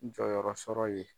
Jɔyɔrɔ sɔrɔ ye.